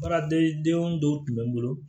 Baaradegedenw dɔw tun bɛ n bolo